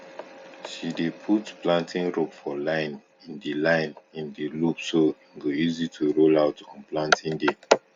she dey put planting rope for line in the line in the loop so e go easy to roll out on planting day